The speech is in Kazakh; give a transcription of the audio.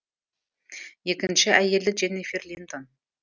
екінші әйелі дженнифер линтон